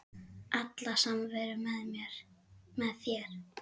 Alla samveru með þér.